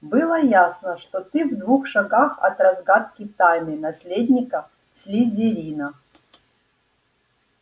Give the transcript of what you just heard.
было ясно что ты в двух шагах от разгадки тайны наследника слизерина